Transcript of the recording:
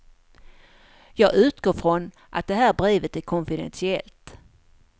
Jag utgår från att det här brevet är konfidentiellt.